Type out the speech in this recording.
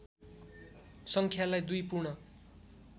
सङ्ख्यालाई दुई पूर्ण